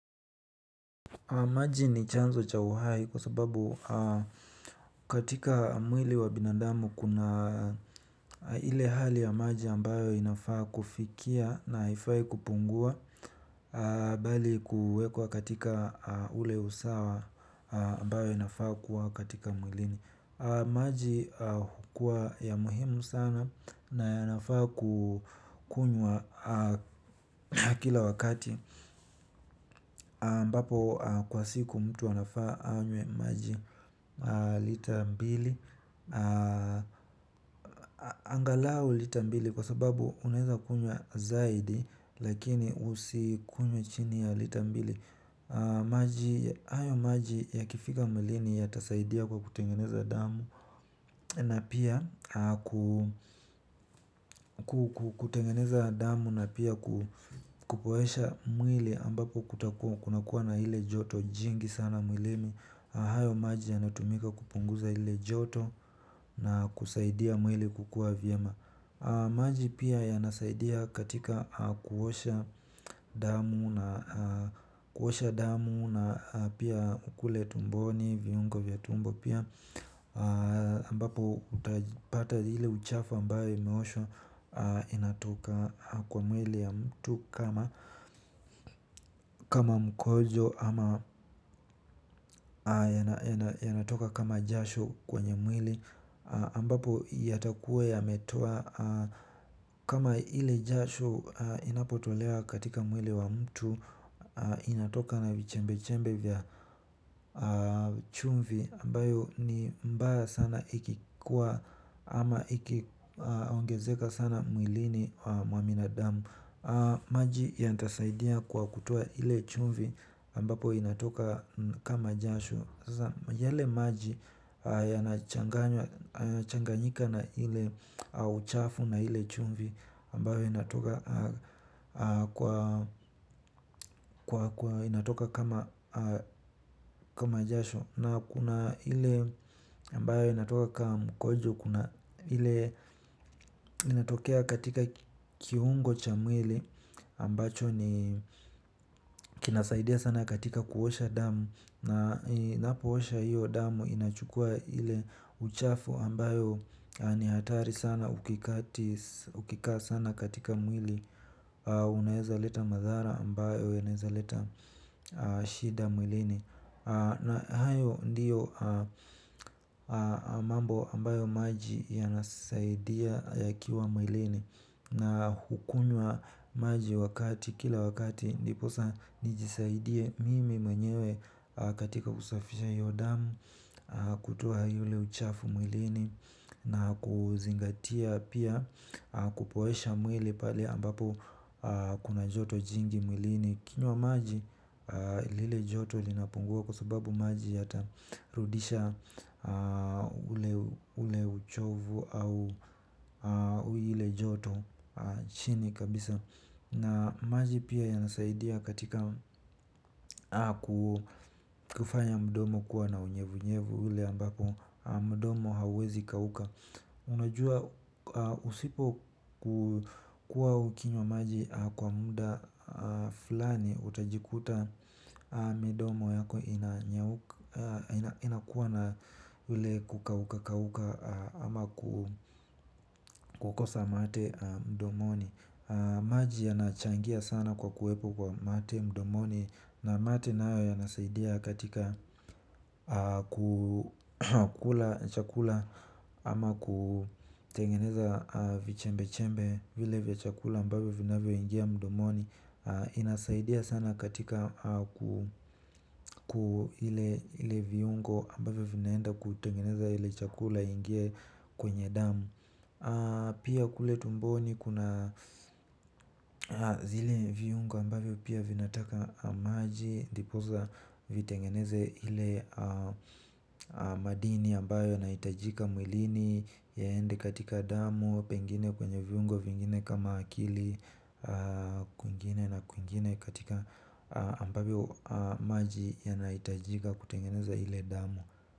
Maji ni chanzo cha uhai kwa sababu katika mwili wa binadamu kuna ile hali ya maji ambayo inafaa kufikia na haifai kupungua bali kuwekwa katika ule usawa ambayo inafaa kuwa katika mwilini. Maji hukua ya muhimu sana na yanafaa kukunyuwa kila wakati ambapo kwa siku mtu anafaa anywe maji lita mbili. Angalau lita mbili kwa sababu unaweza kunywa zaidi lakini usikunywe chini ya lita mbili. Hayo maji yakifika mwlini yatasaidia kwa kutengeneza damu na pia kutengeneza damu na pia kupoesha mwili ambapo kutakuwa kunakuwa na ile joto jingi sana mwilini. Hayo maji yanatumika kupunguza ile joto na kusaidia mwili kukua vyema. Maji pia yanasaidia katika kuosha damu na pia kule tumboni viongo vya tumbo pia ambapo utapata ile uchafu ambayo imeoshwa inatoka kwa mwili ya mtu kama kama mkojo ama yanatoka kama jasho kwenye mwili ambapo yatakuwa yametoa kama ile jasho inapotolewa katika mwili wa mtu. Inatoka na vichembe-chembe vya chumvi ambayo ni mbaya sana ikikuwa ama ikiongezeka sana mwilini mwa binadamu. Maji yatasaidia kwa kutoa ile chumvi ambapo inatoka. Kama jasho sasa yale maji yanachanganyika na ile uchafu na ile chumvi ambayo inatoka inatoka kama jasho na kuna ile ambayo inatoka kama mkojo kuna ile inatokea katika kiungo cha mwili ambacho ni kinasaidia sana katika kuosha damu na inapoosha hiyo damu inachukua ile uchafu ambayo ni hatari sana ukikaa sana katika mwili. Unaweza leta madhara ambayo yanaweza leta shida mwilini. Na hayo ndio mambo ambayo maji yanasaidia yakiwa mwilini na kukunywa maji kila wakati ndiposa nijisaidie mimi mwenyewe katika kusafisha hiyo damu. Kutoa yule uchafu mwilini na kuzingatia pia kupoesha mwili pale ambapo kuna joto jingi mwilini ukinywa maji lile joto linapungua kwa sababu maji yata rudisha. Ule uchovu au ile joto chini kabisa na maji pia yanasaidia katika kufanya mdomo kuwa na unyevunyevu ule ambapo mdomo hawezi kauka. Unajua usipo kukua ukinywa maji kwa muda fulani utajikuta midomo yako inakuwa na ule kukauka kauka ama kukosa mate mdomoni. Maji yanachangia sana kwa kuwepo kwa mate mdomoni na mate nayo yanasaidia katika kukula chakula ama kutengeneza vichembe chembe vile vya chakula ambavyo vinavyo ingia mdomoni. Inasaidia sana katika ku ile viungo ambavyo vinaenda kutengeneza ile chakula ingie kwenye damu. Pia kule tumboni kuna zile viungo ambayo pia vinataka maji ndiposa vitengeneze ile madini ambayo yanahitajika mwilini yaende katika damu pengine kwenye viungo vingine kama akili kwingine na kwingine katika ambavyo maji yanahitajika kutengeneze ile damu.